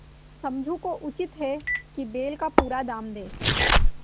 समझू को उचित है कि बैल का पूरा दाम दें